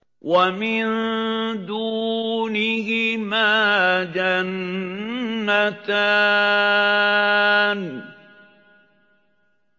وَمِن دُونِهِمَا جَنَّتَانِ